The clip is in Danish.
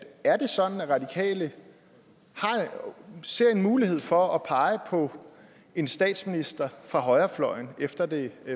er det sådan at de radikale ser en mulighed for at pege på en statsminister fra højrefløjen efter det